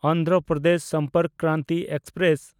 Andhra Pradesh Sampark Kranti express